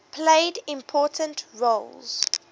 played important roles